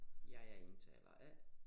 Jeg er indtaler A